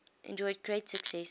enjoyed great success